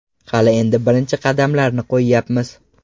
Hali endi birinchi qadamlarni qo‘yyapmiz.